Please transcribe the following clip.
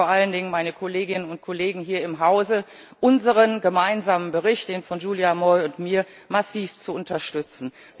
Und ich bitte vor allen Dingen meine Kolleginnen und Kollegen hier im Hause, unseren gemeinsamen Bericht den Bericht von Giulia Moi und mir massiv zu unterstützen.